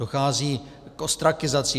Dochází k ostrakizaci.